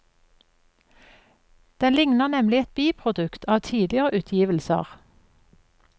Den likner nemlig et biprodukt av tidligere utgivelser.